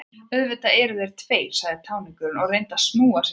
Auðvitað eru þeir tveir, sagði táningurinn og reyndi að snúa sig lausan.